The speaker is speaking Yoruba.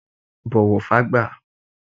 Bọ̀wọ̀ fün àgbà!